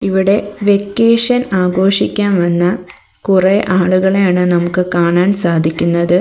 ഇവിടെ വെക്കേഷൻ ആഘോഷിക്കാൻ വന്ന കുറെ ആളുകളെയാണ് നമുക്ക് കാണാൻ സാധിക്കുന്നത്.